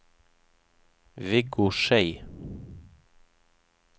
Viggo Schei